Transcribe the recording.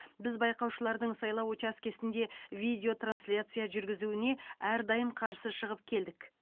біз байқаушылардың сайлау учаскесінде видеотрансляция жүргізуіне әрдайым қарсы шығып келдік